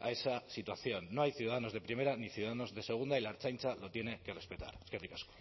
a esa situación no hay ciudadanos de primera ni ciudadanos de segunda y la ertzaintza lo tiene que respetar eskerrik asko